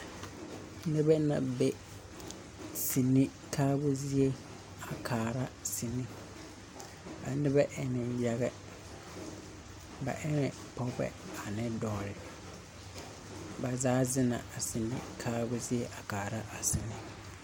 Nebɛ na be sini kaabu zie a kaara sini. A nebɛ en yaga. Bɛ ene pɔgɔbɛ ne dɔɔre. Ba zaa zena a sini kaabu zie a kaara a sini